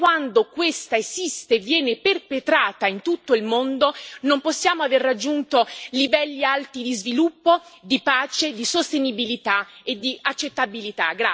Fin quando questa esiste e viene perpetrata in tutto il mondo non possiamo aver raggiunto livelli alti di sviluppo, di pace, di sostenibilità e di accettabilità.